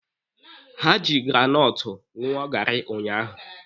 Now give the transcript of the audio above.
Ha ji granọtụ ṅụọ gaarị unyaahụ.